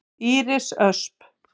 Íris Ösp.